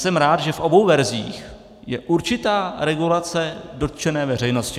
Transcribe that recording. Jsem rád, že v obou verzích je určitá regulace dotčené veřejnosti.